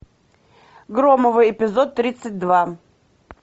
громовы эпизод тридцать два